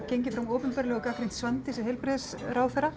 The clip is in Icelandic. gengið fram opinberlega og gagnrýnt Svandísi heilbrigðisráðherra